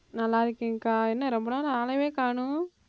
நல்லா இருக்கேன்க்கா என்ன ரொம்ப நாளா ஆளையே காணோம்